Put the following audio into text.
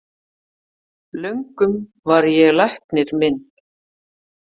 Löngum var ég læknir minn,